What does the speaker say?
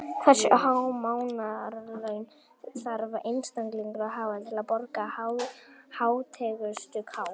Hversu há mánaðarlaun þarf einstaklingur að hafa til að borga hátekjuskatt?